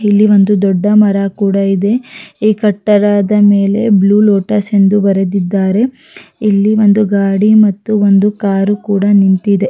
ಇಲ್ಲಿ ಒಂದು ದೊಡ್ಡ ಮರ ಕೂಡ ಇದೆ ಈ ಕಟ್ಟಡದ ಮೇಲೆ ಬ್ಲೂ ಲೋಟಸ್ ಎಂದು ಬರೆದಿದ್ದಾರೆ ಇಲ್ಲಿ ಒಂದು ಗಾಡಿ ಮತ್ತು ಕಾರ್ ಕೂಡ ನಿಂತಿದೆ.